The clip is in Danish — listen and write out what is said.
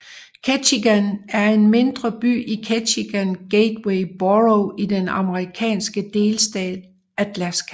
Ketchikan er en mindre by i Ketchikan Gateway Borough i den amerikanske delstat Alaska